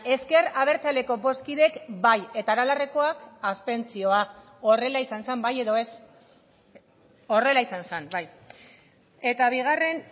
ezker abertzaleko bozkideek bai eta aralarrekoak abstentzioa horrela izan zen bai edo ez horrela izan zen bai eta bigarren